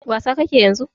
Wasa ka ke yanzu?